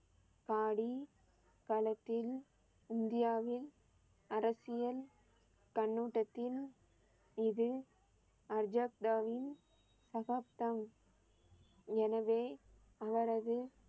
பாடி களத்தில் இந்தியாவில் அரசியல் கண்ணோட்டத்தில் இது அர்ஜாப்டாவின் சகாப்தம். எனவே, அவரது